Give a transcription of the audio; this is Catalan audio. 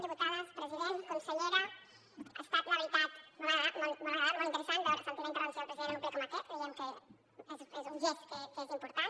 diputades president consellera ha estat la veritat molt agradable molt interessant sentir la intervenció del president en un ple com aquest creiem que és un gest que és important